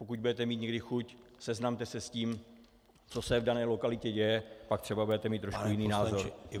Pokud budete mít někdy chuť, seznamte se s tím, co se v dané lokalitě děje, pak třeba budete mít trošku jiný názor.